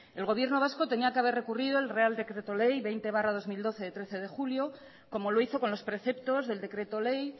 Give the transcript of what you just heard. el gobierno vasco tenía que haber recurrido el real decreto ley veinte barra dos mil doce de trece de julio como lo hizo con los preceptos del decreto ley